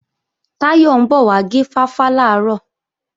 Táyọ̀ ń bọ̀ wá gé fáfá làárọ̀